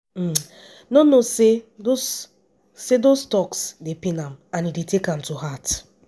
no no say those say those toks dey pain am and e dey take am to heart.